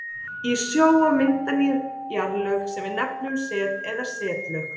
í sjó og mynda ný jarðlög sem við nefnum set eða setlög.